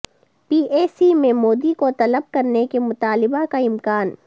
P A C میں مودی کو طلب کرنے کے مطالبہ کا امکان